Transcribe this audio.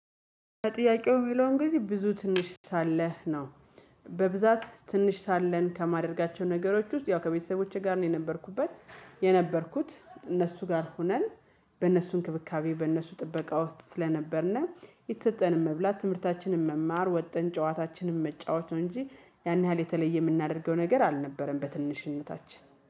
ጥያቄው ቢለውም ጊዜ ብዙ ትንሽ ሳለህ ነው። በብዛት ትንሽ ሳለን ከማድረጋቸው ነገሮች ውስጥ ያው ከቤተሰቦቼ ጋር ነው የነበርኩበት። የነበርኩት እነሱ ጋር ሆነን በእነሱ እንክብካቤ በእነሱ ጥበቃ ውስጥ ስለነበርን የተሰጠንን መብላት ትምህርታችንን መማር ወጥን ጨዋታችንን መጫወት ነው እንጂ ያን ያህል የተለየ የምናደርገው ነገር አልነበረም በትንሽነታችን